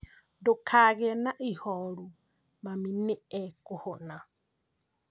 Ndukagie na ihoru mami nĩ akũhona